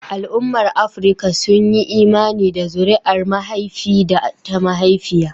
Al'ummar Afirka sun yi imani da zuriyar mahaifi da ta mahaifiya.